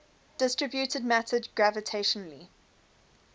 distributed matter gravitationally